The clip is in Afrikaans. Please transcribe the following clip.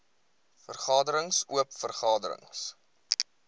vergaderings oop vergaderings